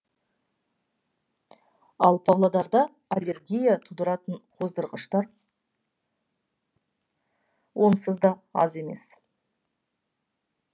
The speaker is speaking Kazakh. ал павлодарда аллергия тудыратын қоздырғыштар онсыз да аз емес